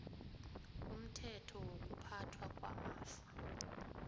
umthetho wokuphathwa kwamafa